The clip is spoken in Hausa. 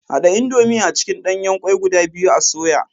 Hada indomie a cikin danyen kwai guda biyu a soya.